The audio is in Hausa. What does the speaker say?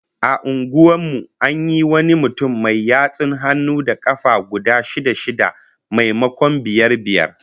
A unguwar mu an yi wani mutum mai yatsun hannu da kafa guda shida-shida, maimakon biyar biyar